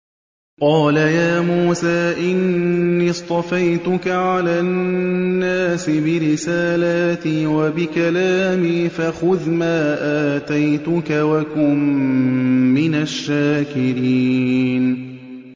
قَالَ يَا مُوسَىٰ إِنِّي اصْطَفَيْتُكَ عَلَى النَّاسِ بِرِسَالَاتِي وَبِكَلَامِي فَخُذْ مَا آتَيْتُكَ وَكُن مِّنَ الشَّاكِرِينَ